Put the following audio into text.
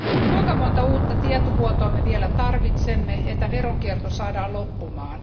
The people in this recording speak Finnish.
Kuinka monta uutta tietovuotoa me vielä tarvitsemme, että veronkierto saadaan loppumaan?